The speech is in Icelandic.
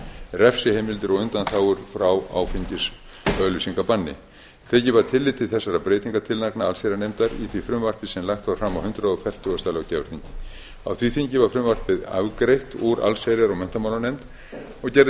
refsiheimildir og undanþágur frá áfengisauglýsingabanni tekið var tillit til þessara breytingartillagna allsherjarnefndar í því frumvarpi sem lagt var fram á hundrað fertugasta löggjafarþingi á því þingi var frumvarpið afgreitt úr allsherjar og menntamálanefnd og gerði